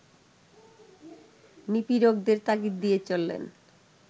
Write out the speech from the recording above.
নিপীড়কদের তাগিদ দিয়ে চললেন